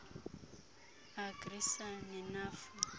agri sa nenafu